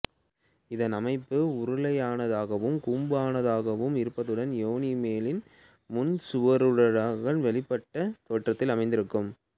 இதன் அமைப்பு உருளையுருவானதாகவோ கூம்புருவானதாகவோ இருப்பதுடன் யோனியின் மேல் முன் சுவரூடாக வெளிநீட்டப்பட்ட தோற்றத்தில் அமைந்திருக்கும்